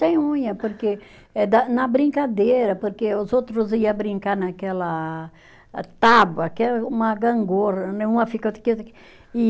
Sem unha, porque é da, na brincadeira, porque os outros ia brincar naquela ah, tábua, que é uma gangorra né, uma fica aqui, outra aqui.